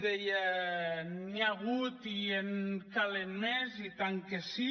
deia que n’hi ha hagut i en calen més i tant que sí